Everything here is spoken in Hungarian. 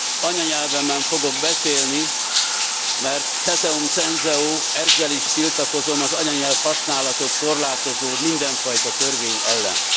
Anyanyelvemen fogok beszélni, mert ceterum censeo, ezzel is tiltakozom az anyanyelvhasználatot korlátozó mindenfajta törvény ellen.